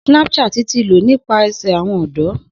Snapchat ti ló nípasẹ̀ awọn ọdọ.